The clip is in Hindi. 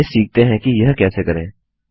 तो चलिए सीखते हैं कि यह कैसे करें